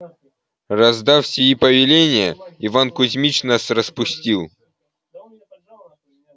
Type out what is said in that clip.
раздав сии повеления иван кузмич нас распустил